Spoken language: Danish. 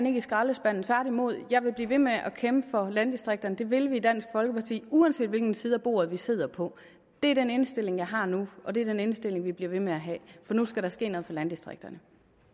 i skraldespanden tværtimod jeg vil blive ved med at kæmpe for landdistrikterne det vil vi i dansk folkeparti uanset hvilken side af bordet vi sidder på det er den indstilling jeg har nu og det er den indstilling vi bliver ved med at have nu skal der ske noget for landdistrikterne